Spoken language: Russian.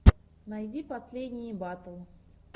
найди последние батл